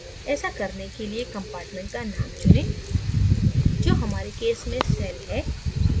ऐसा करने के लिये compartment का name चुनें जो हमारे case में cell है